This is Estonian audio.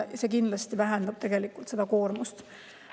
See kindlasti vähendab koormust.